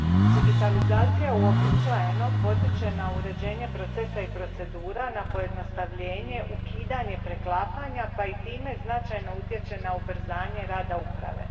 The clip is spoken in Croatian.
Digitalizacija uobičajeno potiče na uređenje procesa i procedura, na pojednostavljenje, ukidanje preklapanja pa i time značajno utječe na ubrzanje rada uprave.